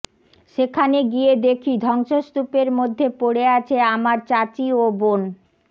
সেখানে গিয়ে দেখি ধ্বংসস্তূপের মধ্যে পড়ে আছে আমার চাচী ও বোন